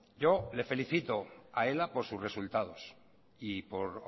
yo le felicito a ela por sus resultados y por